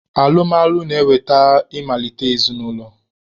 Alụmalụ na-eweta ị malite ezinaụlọ